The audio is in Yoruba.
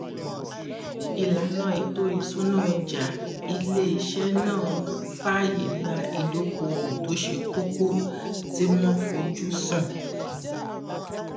ìlànà ètò ìṣúná ọjà ilé iṣẹ náà fàyè gba ìdóokòòwò tó ṣe kókó tí wọn fojú sùn